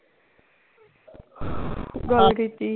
ਗੱਲ ਕੀਤੀ